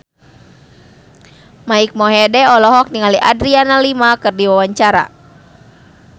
Mike Mohede olohok ningali Adriana Lima keur diwawancara